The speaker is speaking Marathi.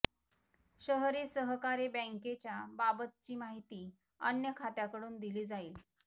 शहरी सहकारी बैंकेच्या बाबतची माहिती अन्य खात्याकडून दिली जाईल